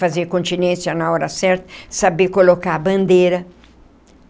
Fazer continência na hora certa, saber colocar a bandeira.